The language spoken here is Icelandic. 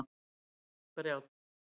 Brjánn